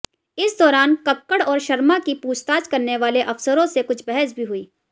इस दौरान कक्कड़ और शर्मा की पूछताछ करने वाले अफसरों से कुछ बहस भी हुई